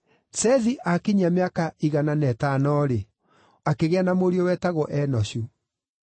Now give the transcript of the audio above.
Sethi aakinyia mĩaka igana na ĩtano-rĩ, akĩgĩa na mũriũ wetagwo Enoshu.